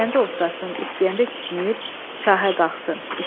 İstəyəndə otlasın, istəyəndə kişnəyib şahə qalxsın.